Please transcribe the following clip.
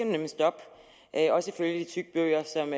nemlig stoppe også ifølge de tykke bøger som